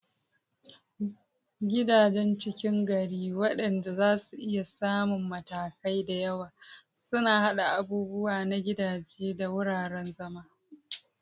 Gidajen ckin gari, waɗanda zasu iya samun matakai da yawa, suna haɗa abubuwa na gidaje da wuraren zama.